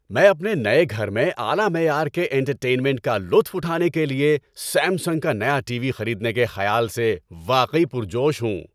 میں اپنے نئے گھر میں اعلی معیار کے انٹرٹینمنٹ کا لطف اٹھانے کے لیے سیمسنگ کا نیا ٹی وی خریدنے کے خیال سے واقعی پرجوش ہوں۔